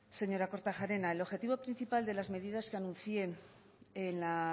señora kortajarena el objetivo principal de las medidas que anuncié en la